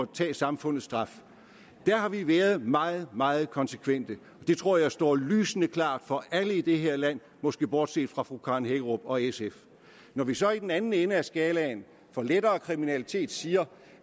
tage samfundets straf der har vi været meget meget konsekvente det tror jeg står lysende klart for alle i det her land måske bortset fra fru karen hækkerup og sf når vi så i den anden ende af skalaen for lettere kriminalitet siger